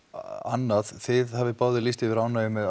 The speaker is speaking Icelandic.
annað þið hafið báðir lýst yfir ánægju með